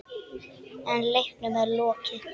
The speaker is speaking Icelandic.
En leiknum er ekki lokið.